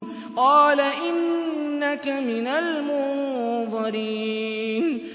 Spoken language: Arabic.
قَالَ إِنَّكَ مِنَ الْمُنظَرِينَ